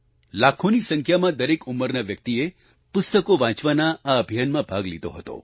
લાખોની સંખ્યામાં દરેક ઉંમરના વ્યક્તિએ પુસ્તકો વાંચવાના આ અભિયાનમાં ભાગ લીધો હતો